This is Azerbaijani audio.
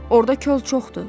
Orda kol çoxdur,